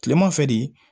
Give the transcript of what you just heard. Kileman fɛ de